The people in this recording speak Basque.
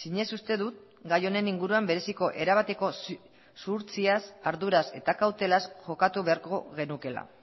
zinez uste dut gai honen inguruan bereziko erabateko zuhurtziaz arduraz eta kautelaz jokatu beharko genukeela